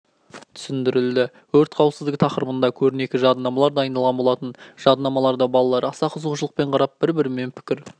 түсіндірілді өрт қауіпсіздігі тақырыбында көрнекі жадынамалар дайындалған болатын жадынамаларды балалар аса қызығушылықпен қарап бір-бірімен пікір